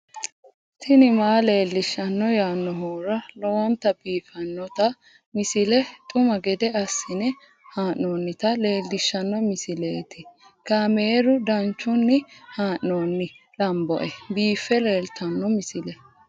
tini maa leelishshanno yaannohura lowonta biiffanota misile xuma gede assine haa'noonnita leellishshanno misileeti kaameru danchunni haa'noonni lamboe biiffe leeeltanno misile